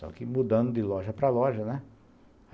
Só que mudando de loja para loja, né?